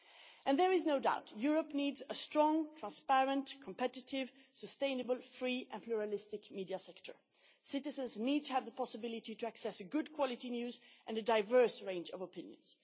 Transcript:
And there is no doubt Europe needs a strong, transparent, competitive, sustainable, free and pluralistic media sector. Citizens need to have the possibility to access good quality news and a diverse range of opinions.